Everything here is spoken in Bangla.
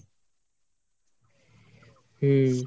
হম